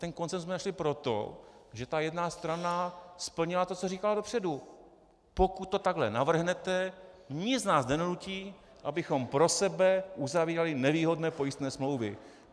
Ten konsenzus jsme našli proto, že ta jedna strana splnila to, co říkala dopředu: pokud to takhle navrhnete, nic nás nedonutí, abychom pro sebe uzavírali nevýhodné pojistné smlouvy.